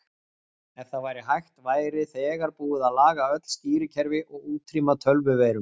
Ef það væri hægt væri þegar búið að laga öll stýrikerfi og útrýma tölvuveirum.